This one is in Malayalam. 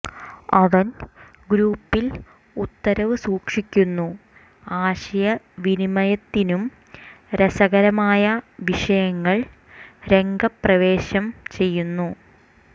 അവൻ ഗ്രൂപ്പിൽ ഉത്തരവ് സൂക്ഷിക്കുന്നു ആശയവിനിമയത്തിനും രസകരമായ വിഷയങ്ങൾ രംഗപ്രവേശം ചെയ്യുന്നു